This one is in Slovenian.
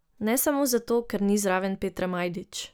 Ne samo zato, ker ni zraven Petre Majdič.